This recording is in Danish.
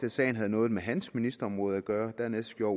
at sagen havde noget med hans ministerområde at gøre dernæst gjorde